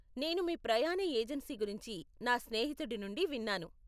నేను మీ ప్రయాణ ఏజెన్సీ గురించి నా స్నేహితుడి నుండి విన్నాను.